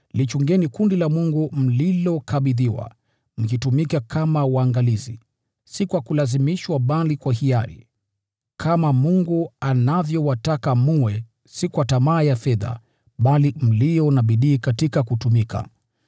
lichungeni kundi la Mungu mlilokabidhiwa, mkitumika kama waangalizi, si kwa kulazimishwa bali kwa hiari, kama Mungu anavyowataka mwe; si kwa tamaa ya fedha, bali mlio na bidii katika kutumika.